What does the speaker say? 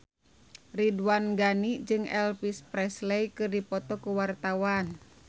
Ridwan Ghani jeung Elvis Presley keur dipoto ku wartawan